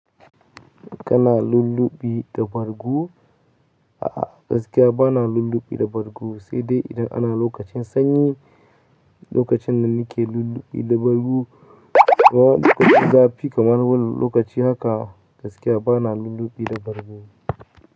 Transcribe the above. Kana lulluɓi da bargu? A'a, gaskiya ba na lulluɓi da bargo sai dai idan ana lokacin sanyi, lokacin da nike lulluɓi da bargo. Waɗannan lokutan zafi kamar wannan lokaci haka, gaskiya ba na lulluɓi da bargo.